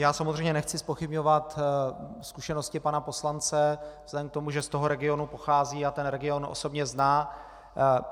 Já samozřejmě nechci zpochybňovat zkušenosti pana poslance vzhledem k tomu, že z toho regionu pochází a ten region osobně zná.